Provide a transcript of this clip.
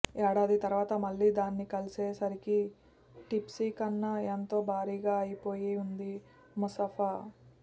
ఏడాది తర్వాత మళ్లీ దాన్ని కలిసే సరికి టిప్పీ కన్నా ఎంతో భారీగా అయిపో యింది ముఫా సా